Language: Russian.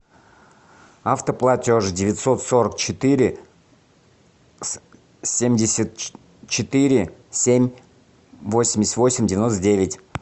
автоплатеж девятьсот сорок четыре семьдесят четыре семь восемьдесят восемь девяносто девять